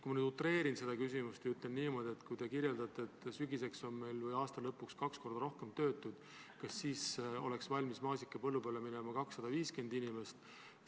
Ma natuke utreerin ja ütlen niimoodi, et kui te väidate, et aasta lõpuks on meil kaks korda rohkem töötuid, kas siis tuleval suvel oleks valmis maasikapõllule minema 250 inimest?